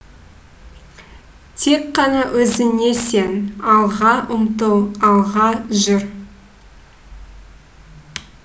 тек қана өзіңе сен алға ұмтыл алға жүр